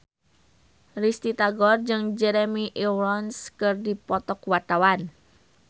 Risty Tagor jeung Jeremy Irons keur dipoto ku wartawan